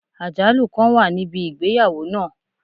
Ajalu kan wa nibi igbeyawo naa